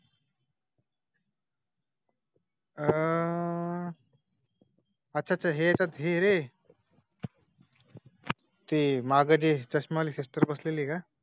आह. अच्छा अच्छा हे आहे रे . ते मागे चश्मा लिस्टर बसलेली आहे का